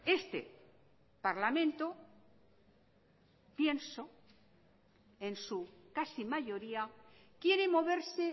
este parlamento pienso en su casi mayoría quiere moverse